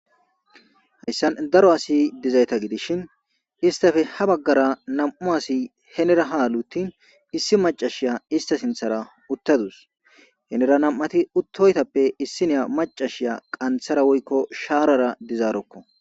Hayssan daro asi dizayta gidishin istafe ha baggara nam'u asi henera haaluttin issi macashiya ista sinthara uttadus henera nam'ati uttoytappe issi neya macashiya qanthara woykko shaarara dizaarokko